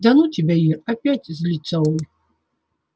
да ну тебя ир опять злится он